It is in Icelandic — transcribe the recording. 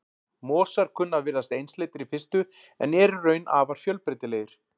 Mosar kunna að virðast einsleitir í fyrstu en eru í raun afar fjölbreytilegir.